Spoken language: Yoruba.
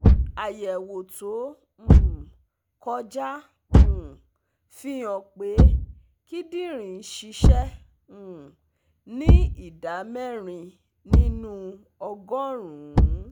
) Àyẹ̀wò tó um kọjá um fi hàn pé kíndìnrín ń ṣiṣẹ́ um ní ìdá mẹ́rin nínú ọgọ́rùn-ún